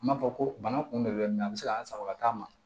N m'a fɔ ko bana kunbɛn de bɛ a bɛ se ka an sago a t'a ma